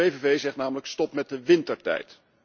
De PVV zegt namelijk stop met de wintertijd.